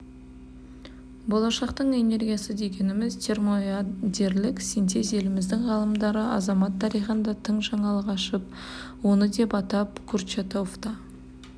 болашақтың энергиясы дегеніміз термоядерлік синтез еліміздің ғалымдары адамзат тарихында тың жаңалық ашып оны деп атап курчатовта